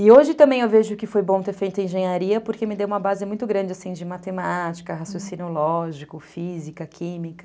E hoje também eu vejo que foi bom ter feito engenharia porque me deu uma base muito grande, assim, de matemática, raciocínio lógico, física, química.